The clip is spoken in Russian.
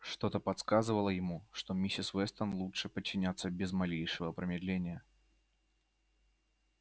что-то подсказывало ему что миссис вестон лучше подчиняться без малейшего промедления